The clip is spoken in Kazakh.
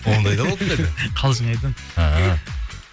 ондай да болып па еді қалжың айтамын ааа